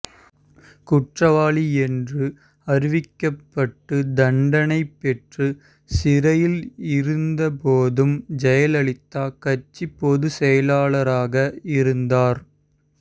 குற்றவாளி என்று அறிவிக்கப்பட்டு தண்டனை பெற்று சிறையில் இருந்த போதும் ஜெயலலிதா கட்சி பொதுச்செயலாளராக இருந்தார்